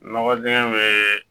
Nɔgɔ dingɛ bɛ